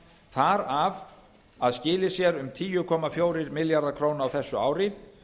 þar af að skilyrt sé um tíu komma fjóra milljarða króna á þessu ári